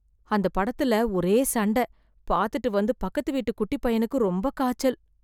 அந்த படத்துல ஒரே சண்ட, பாத்துட்டு வந்து பக்கத்து வீட்டு குட்டிப் பையனுக்கு ரொம்ப காய்ச்சல் .